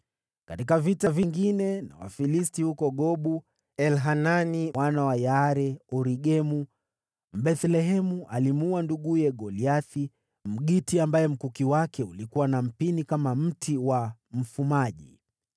Katika vita vingine na Wafilisti huko Gobu, Elhanani mwana wa Yaare-Oregimu, Mbethlehemu, alimuua nduguye Goliathi, Mgiti, ambaye mkuki wake ulikuwa na mpini kama mti wa mfumaji.